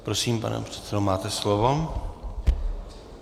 Prosím, pane předsedo, máte slovo.